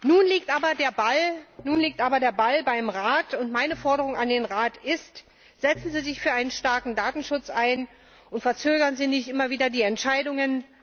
Nun liegt aber der Ball beim Rat und meine Forderung an den Rat ist Setzen Sie sich für einen starken Datenschutz ein und verzögern Sie nicht immer wieder die Entscheidungen!